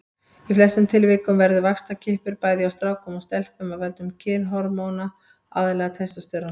Í flestum tilvikum verður vaxtarkippur hjá bæði strákum og stelpum af völdum kynhormóna, aðallega testósteróns.